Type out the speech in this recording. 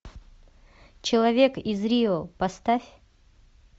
человек из рио поставь